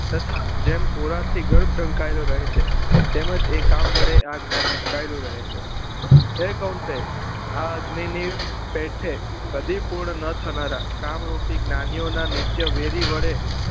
તથા જેમ ઓરડા થી ઘર ઢંકાઈ લો રહે છે એમ જ એ કામ વડે આ જ્ઞાન ઢંકાઇલુ રહે છે એ એકાંતે આ અગ્નિ ની પીઠે કદી પૂર્ણ ન થનારા કામ રૂપી જ્ઞાની ઓ નાં નિત્ય વેદી વડે